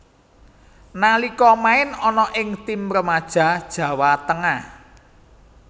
Nalika main ana ing tim remaja Jawa Tengah